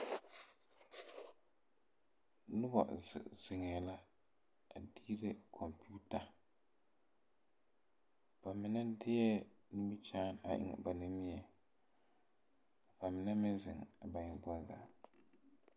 Noba ziŋziŋɛ la a diire kɔmpiita ba mine deɛ nimikyaan eŋ ba nogeŋ ba mine meŋ ba eŋ boŋ zaa.